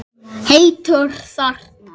Heitur þarna.